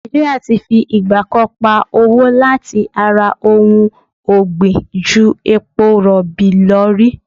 Nàìjí́ríà ti fi ìgbà kan pa owó láti ara ohun ọ̀gbìn ju epo rọ̀bì lọ rí.